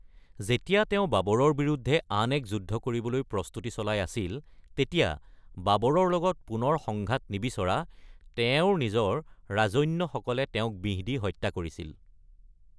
যেতিয়া তেওঁ বাবৰৰ বিৰুদ্ধে আন এক যুদ্ধ কৰিবলৈ প্ৰস্তুতি চলাই আছিল, তেতিয়া বাবৰৰ লগত পুনৰ সংঘাত নিবিচৰা তেওঁৰ নিজৰ ৰাজন্যসকলে তেওঁক বিহ দি হত্যা কৰিছিল।